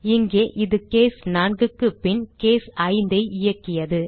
இங்கே இது கேஸ் 4 க்கு பின் கேஸ் 5 ஐ இயக்கியது